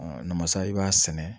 namasa i b'a sɛnɛ